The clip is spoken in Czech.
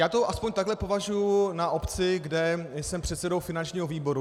Já to alespoň takhle považuji na obci, kde jsem předsedou finančního výboru.